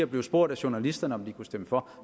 bliver spurgt af journalisterne om man kunne stemme for